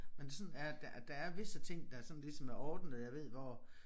Men sådan er der er visse ting der sådan ligesom er ordnede jeg ved hvor